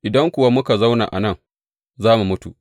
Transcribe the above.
Idan kuwa muka zauna a nan, za mu mutu.